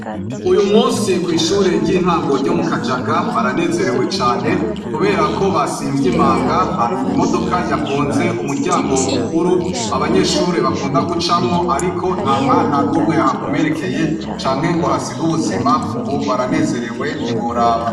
Uyu musi kw'ishure ry'intango ryo mu Kajaga baranezerewe cane kuberako basimvye imanga, hari imodoka yagonze umuryango mukuru abanyeshure bakunda gucamwo ariko nta mwana n'umwe yahakomerekeye canke ngo ahasige ubuzima, ubu baranezerewe ntiworaba.